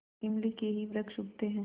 इमली के ही वृक्ष उगते हैं